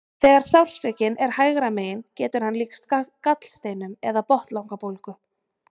Þegar sársaukinn er hægra megin getur hann líkst gallsteinum eða botnlangabólgu.